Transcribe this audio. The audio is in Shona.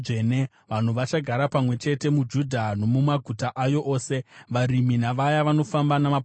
Vanhu vachagara pamwe chete muJudha nomumaguta ayo ose, varimi navaya vanofamba namapoka avo.